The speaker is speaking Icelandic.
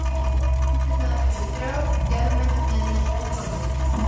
Myndir eru þrjár: germynd, miðmynd og þolmynd.